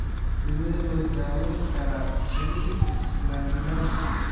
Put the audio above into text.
Sidee loo daweyn karaa cheilitis glandularis?